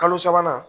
Kalo sabanan